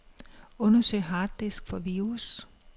Undersøg harddisk for virus.